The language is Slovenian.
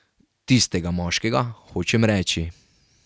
Tistega moškega, hočem reči.